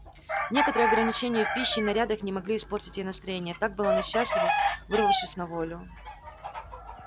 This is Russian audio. некоторые ограничения в пище и нарядах не могли испортить ей настроения так была она счастлива вырвавшись на волю